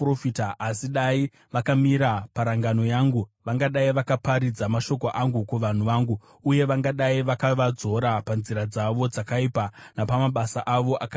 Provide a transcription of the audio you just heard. Asi dai vakamira parangano yangu, vangadai vakaparidza mashoko angu kuvanhu vangu, uye vangadai vakavadzora panzira dzavo dzakaipa, napamabasa avo akaipa.